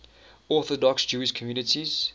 orthodox jewish communities